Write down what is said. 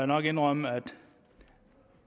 nok indrømme at